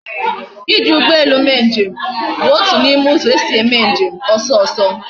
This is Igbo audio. Iji ugbo elu mee nje m bu otu na ime uzo esi eme njem oso oso